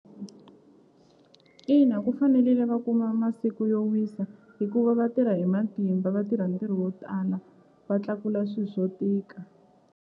Ina ku fanelile va kuma masiku yo wisa hikuva vatirha hi matimba va tirha ntirho wo tala va tlakula swi swo tika.